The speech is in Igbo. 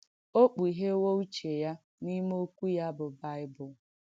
O kpùghèwó ùché ya n’ìmé Òkwú ya, bụ́ Bị̀bụ̀l̀.